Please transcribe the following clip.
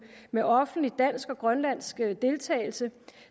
med offentlig dansk og grønlandsk deltagelse